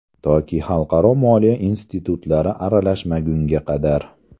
Toki xalqaro moliya institutlari aralashmagunga qadar.